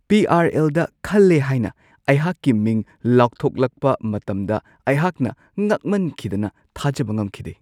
ꯄꯤ.ꯑꯥꯔ.ꯑꯦꯜ.ꯗ ꯈꯜꯂꯦ ꯍꯥꯏꯅ ꯑꯩꯍꯥꯛꯀꯤ ꯃꯤꯡ ꯂꯥꯎꯊꯣꯛꯂꯛꯄ ꯃꯇꯝꯗ ꯑꯩꯍꯥꯛꯅ ꯉꯛꯃꯟꯈꯤꯗꯅ ꯊꯥꯖꯕ ꯉꯝꯈꯤꯗꯦ ꯫